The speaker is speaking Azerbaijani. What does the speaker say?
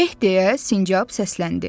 Eh deyə sincab səsləndi.